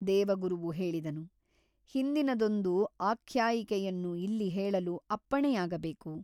ದೇವಗುರುವು ಹೇಳಿದನು ಹಿಂದಿನದೊಂದು ಆಖ್ಯಾಯಿಕೆಯನ್ನು ಇಲ್ಲಿ ಹೇಳಲು ಅಪ್ಪಣೆಯಾಗಬೇಕು.